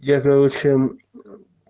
я короче